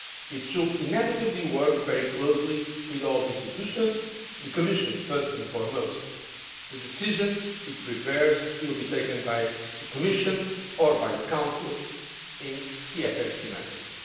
It should inevitably work very closely with all the institutions, the Commission first and foremost. The decisions it prepares will be taken by the Commission or by the Council in CFSP matters.